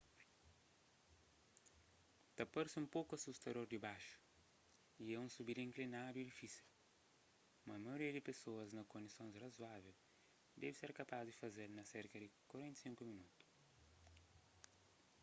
ta parse un poku asustador dibaxu y é un subida inklinadu y difísil mas maioria di pesoas na kondisons razoável debe ser kapaz di faze-l na serka di 45 minotu